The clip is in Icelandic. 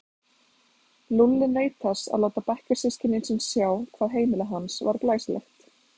Lúlli naut þess að láta bekkjarsystkini sín sjá hvað heimili hans var glæsilegt.